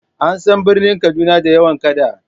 An san birnin Kaduna da yawan kada.